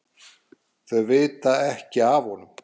Þau vita ekki af honum.